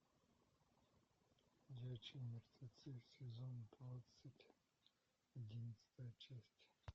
ходячие мертвецы сезон двадцать одиннадцатая часть